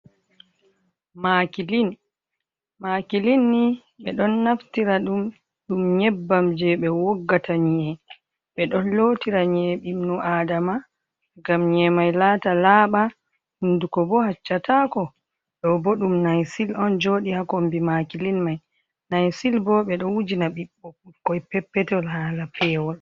Makilin. Ɓe ɗon naftira ɗum nyebbam je ɓe woggata nyiye, ɓe ɗon lotira nyiye iɓnu aadama, gam nyiye mai laata laaɓa, hunduko bo haccataako. Ɗo bo ɗum naysil on jooɗi haa kombi makilin mai, naysil bo ɓe ɗo wujina ɓikkoi peppetol haala pewol.